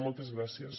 moltes gràcies